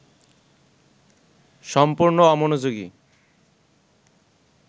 সম্পূর্ণ অমনোযোগী